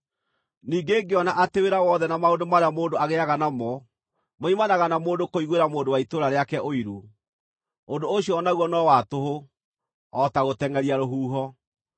Ningĩ ngĩona atĩ wĩra wothe na maũndũ marĩa mũndũ agĩĩaga namo moimanaga na mũndũ kũiguĩra mũndũ wa itũũra rĩake ũiru. Ũndũ ũcio o naguo no wa tũhũ, o ta gũtengʼeria rũhuho.